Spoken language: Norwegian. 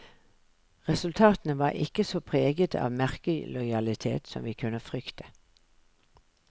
Resultatene var ikke så preget av merkelojalitet som vi kunne frykte.